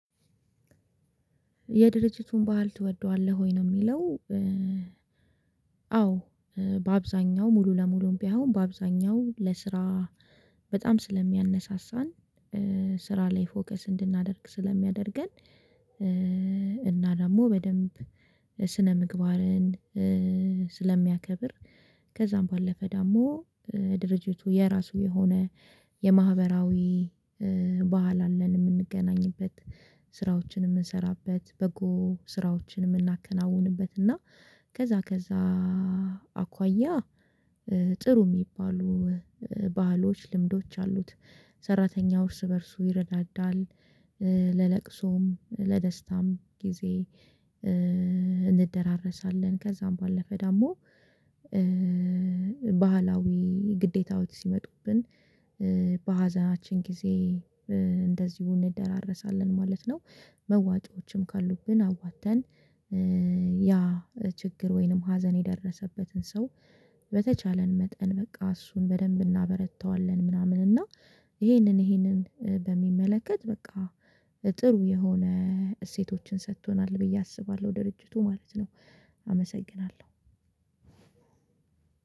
የድርጅቱን ባህል ትወደዋለህ ወይ ነው የሚለው? አዎ በአብዛኛው ሙሉ ለሙሉም ባይሆን በአብዛኛው ለስራ በጣም ስለሚያነሳሳን ስራ ላይ ፎከስ እንድናደርግ ስለሚያደርገን። እና ደግሞ በደንብ ስነ ምግባርን ስለሚያከብር። ከዛም ባለፈ ዳሞ ድርጅቱ የራሱ የሆነ የማህበራዊ ባህል አለን የምንገናኝበት ስራዎችን የምንሰራበት በጎ ስራዎችን የምናከናውንበት እና ከዛ ከዛ አኳያ ጥሩ የሚባሉ ባህሎች ልምዶች አሉት። ሰራተኛው ርስ በእርሱ ይረዳዳል ለለቅሶም ለደስታም ጊዜ እንደራረሳለን ከዛም ባለፈ ደግሞ። ባህላዊ ግዴታዎች ሲመጡብን በሀዘናችን ጊዜ እንደዚሁ እንደራረሳለን ማለት ነው። መዋጮችም ካሉብን አዋጥተን ያ ችግር ወይንም ሀዘን የደረሰበትን ሰው በተቻለን መጠን በቃ እሱን በደንብ እናበረታዋለን። ምናምን እና ይሄንን ይሄንን በሚመለከት በቃ ጥሩ የሆነ እሴቶችን ሰጥቶናል ብዬ አስባለሁ ድርጅቱ ማለት ነው። አመሰግናለሁ።